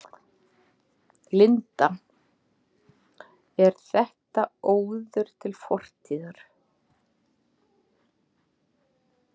Linda: Er þetta óður til fortíðar?